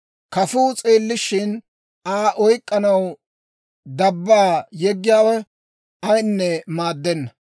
Kafuu s'eellishshin, Aa oyk'k'anaw dabbaa yeggiyaawe ayinne maaddenna.